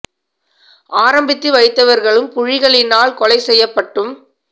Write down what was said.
ஆரம்பித்துவைத்தவ்ர்கழும் புலிகளினால் கொலைசெய்யப்பட்டும்